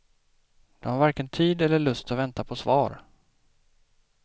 De har varken tid eller lust att vänta på svar.